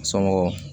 Somɔgɔ